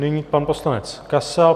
Nyní pan poslanec Kasal.